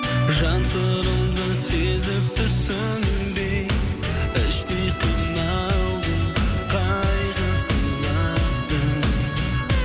жан сырымды сезіп түсінбей іштей қиналдым қайғы сыйладың